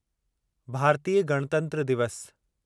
भारतीय गणतंत्र दिवस